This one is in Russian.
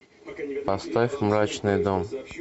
поставь мрачный дом